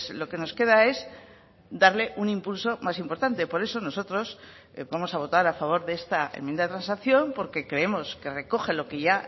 lo que nos queda es darle un impulso más importante por eso nosotros vamos a votar a favor de esta enmienda de transacción porque creemos que recoge lo que ya